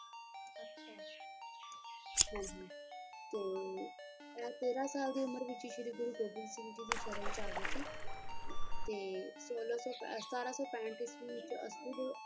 ਹਾਂਜੀ ਤੇ ਐ ਤੇਰਾਂ ਸਾਲ ਦੀ ਉਮਰ ਵਿੱਚ ਸ਼੍ਰੀ ਗੁਰੂ ਗੋਬਿੰਦ ਸਿੰਘ ਦੀ ਸ਼ਰਨ ਚ ਆ ਗਏ ਸੀ ਤੇ ਸੋਲਾਂ ਸੌ ਸਤਾਰਾਂ ਸੌ ਪੈਹਂਟ ਵਿੱਚ ਹੀ ਅੱਸੂ ਦੇ,